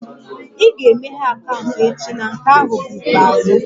Ị ga-emeghe akaụntụ echi na nke ahụ bụ ikpeazụ!